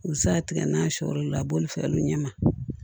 U bɛ se ka tigɛ n'a sɔlu la a b'olu fɛnw ɲɛma